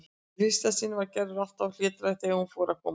Í fyrstu var Gerður alltaf mjög hlédræg þegar hún fór að koma hér.